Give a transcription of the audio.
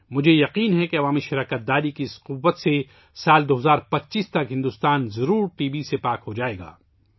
مجھے یقین ہے کہ عوامی شرکت کی اس قوت سے، بھارت یقینی طور پر سال 2025 ء تک ٹی بی سے پاک ہو جائے گا